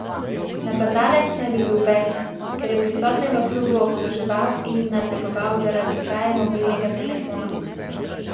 Napadalec naj bi bil besen, ker je prisotne v klubu obtoževal in nadlegoval zaradi kraje mobilnega telefona.